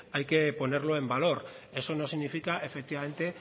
hay que ponerlo en valor eso no significa efectivamente